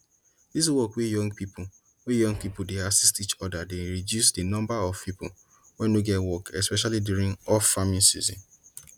dis work wey young wey young people dey assist each other dey reduce di number of people wey no get work especially during offfarming season